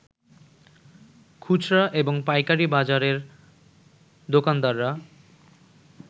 খুচরা এবং পাইকারি বাজারের দোকানদাররা